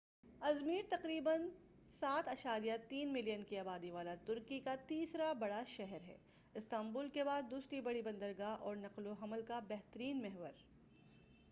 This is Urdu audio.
ازمیر تقریباً 3۔7 ملین کی آبادی والا ترکی کا تیسرا بڑا شہر ہے، استامبول کے بعد دوسری بڑی بندرگاہ، اور نقل و حمل کا بہترین محور۔